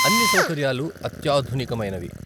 అన్ని సౌకర్యాలు అత్యాధునికమైనవి.